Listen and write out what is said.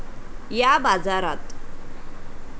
या बाजारात.